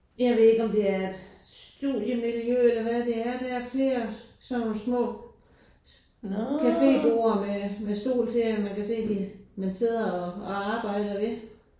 Jeg ved ikke om det er et studiemiljø eller hvad det er der er flere af sådan nogle små cafeborde med med stol til og man kan se de man sidder og og arbejder ved